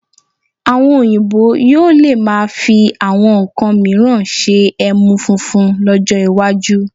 Àwọn Oyinbo yóò lè máa fi àwọn nnkan mìíràn ṣe ẹmu funfun lọ́jọ́ iwájú